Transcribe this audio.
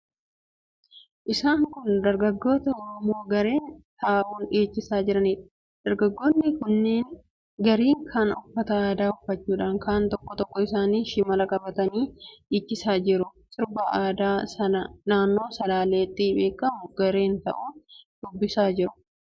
Isaan kun dargaggoota Oromoo gareen ta'uun dhiichisaa jiraniidha. Dargaggoonni kunneen garri kaan uffata aadaa uffachuudhaan tokkoon tokkoon isaanii shimala qabatanii dhiichisaa jiru. Sirba aadaa naannoo Salaaleetti beekamu gareen ta'uun dhiichisaa jiru.